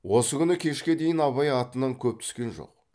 осы күні кешке шейін абай атынан көп түскен жоқ